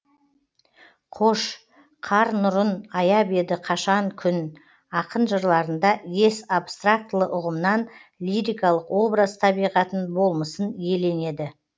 қош қар нұрын аяп еді қашан күн ақын жырларында ес абстрактілі ұғымнан лирикалық образ табиғатын болмысын иеленеді